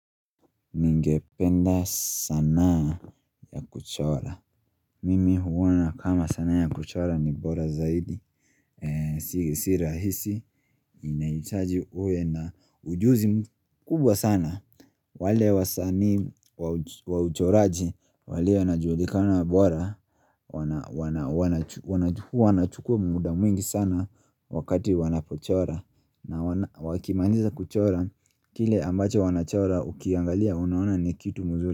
Ningependa sanaa ya kuchora Mimi huona kama sanaa ya kuchora ni bora zaidi Si si rahisi inahitaji uwe na ujuzi mkubwa sana wale wasanii wa uch wa uchoraji walio wanajulikana bora wana Wanachukua muda mwingi sana wakati wanapochora na wana wakimaliza kuchora kile ambacho wanachora ukiangalia unaona ni kitu mzuri.